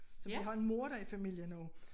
Så vi har en morder i familien nu